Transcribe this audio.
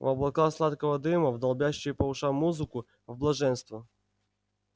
в облака сладкого дыма в долбящую по ушам музыку в блаженство